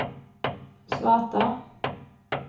svarta